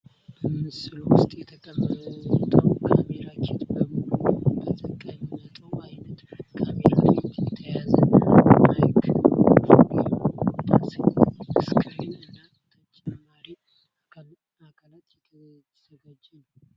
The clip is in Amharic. በምስሉ ውስጥ የተቀመጠው ካሜራ ኪት በሙሉ ነው። በተቀመጠው አይነት ካሜራ ላይ የተያዘ ማይክሮፎን፣ የሚወጣ ስክሪን እና ተጨማሪ አካላት የተዘጋጀ ነው። የተለያዩ አካላት እና የመያዣ ቦርሳ በአንድ ቦታ ተያይዞ የፎቶ እና የቪዲዮ የሚያሳይ የፈጠራ ስሜት ያሳያል።